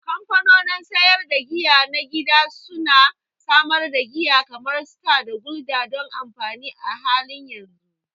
Kamfanonin sayar da giya na gida su na samar da giya kamar Star da Gulder don amfani a halin yanzu.